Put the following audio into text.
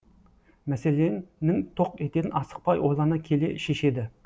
мәселенің тоқ етерін асықпай ойлана келе шешеді